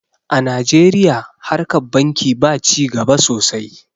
a najeriya harkar banki ba ci gaba sosai